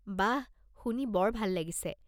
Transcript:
বাহ... শুনি বৰ ভাল লাগিছে!